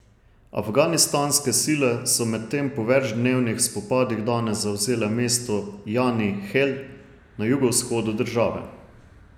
Afganistanske sile so medtem po večdnevnih spopadih danes zavzele mesto Jani Hel na jugovzhodu države.